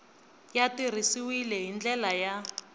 ya tirhisiwile hi ndlela ya